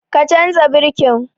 Ka canza birkin!